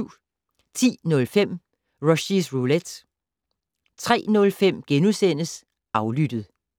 10:05: Rushys Roulette 03:05: Aflyttet *